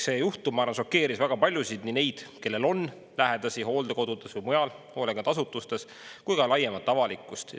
See juhtum, ma arvan, šokeeris väga paljusid, nii neid, kellel on lähedasi hooldekodudes või mujal hoolekandeasutustes, kui ka laiemat avalikkust.